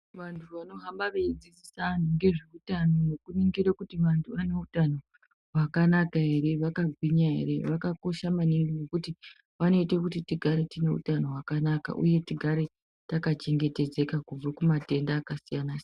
Vantu vanohamba vedzidzisa antu ngezveutano nekuningire kuti vantu vane utano hwakanaka ere vakagwinya ere vakakosha maningi ngekuti vanoite kuti tigare tine utano hwakanaka uye tigare takachengetedzeka kubve kumatenda akasiyana siyana.